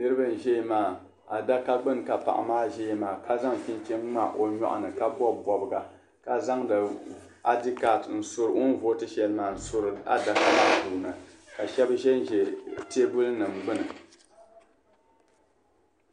Niraba n ʒɛya maa adaka gbuni ka paɣa maa ʒɛya maa ka zaŋ chinchin ŋma o nyoɣini ka bobi boboga ka zaŋdi id card n suri adaka maa puuni ka shaba ʒɛnʒɛ teebuli nima gbuni